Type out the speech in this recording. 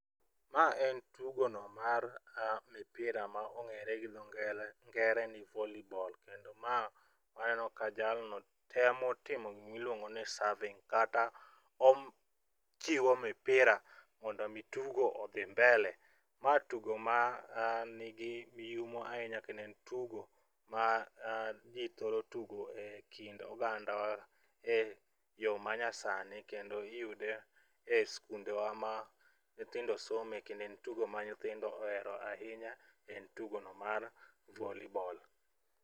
Ma en tugo no mar mipira ma ong'ere gi dho ngele ngere ni volley ball kendo ma waneno ka jalno temo timo giluongo ni serving kata ochiwo mipira mondo mi tugo odhi mbele. Ma tugo manigi yumo ahinya kendo en tugo ma jii thoro tugo ekind oganda e yoo ma nya sani kendo iyude e skunde wa ma nyithindo some kendo en tugo ma hyithinod ohero ahinya, en tugo no mar volleyball.